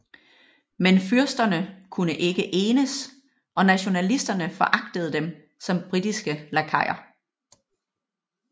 Men fyrsterne kunne ikke enes og nationalisterne foragtede dem som britiske lakajer